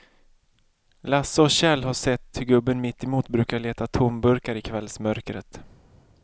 Lasse och Kjell har sett hur gubben mittemot brukar leta tomburkar i kvällsmörkret.